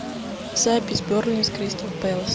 запись бернли с кристал пэлас